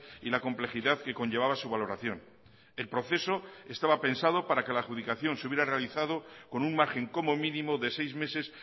y la complejidad que conllevaba su valoración el proceso estaba pensado para que la adjudicación se hubiera realizado con un margen como mínimo de seis meses